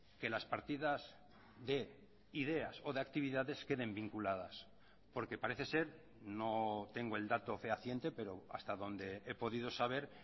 que las partidas de ideas o de actividades queden vinculadas porque parece ser no tengo el dato fehaciente pero hasta donde he podido saber